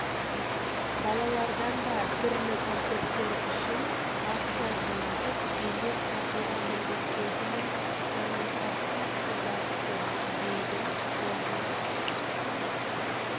балалардан да түрлі концерттер үшін ақша жинатып билет сатуға міндеттейтіні жанымызға қатты батты дейді ұжым